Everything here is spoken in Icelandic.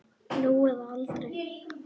Nú eða aldrei.